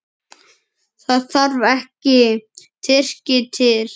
Það þarf ekki Tyrki til.